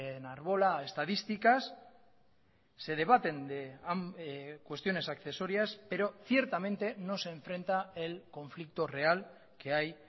enarbola estadísticas se debaten cuestiones accesorias pero ciertamente no se enfrenta el conflicto real que hay